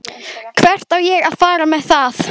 Hvert á ég að fara með það?